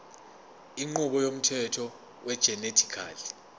inqubo yomthetho wegenetically